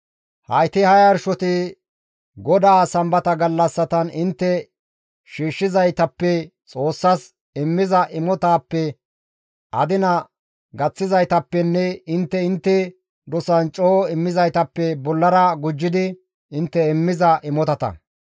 Hayti ha yarshoti GODAA Sambata gallassatan intte shiishshizaytappe Xoossas immiza imotatappe adina gaththizaytappenne intte intte dosan coo immizaytappe bollara gujjidi intte immiza imotata.